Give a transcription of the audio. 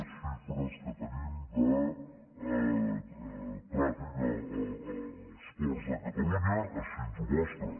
les xifres que tenim de tràfic als ports de catalunya així ens ho mostra